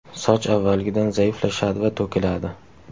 Soch avvalgidan zaiflashadi va to‘kiladi.